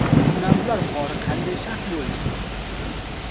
Munavvar qori qanday shaxs bo‘lgan?.